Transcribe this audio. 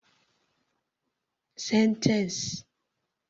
Sentence